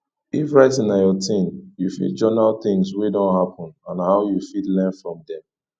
if writing na your thing you fit journal things wey don happen and how you fit learn from them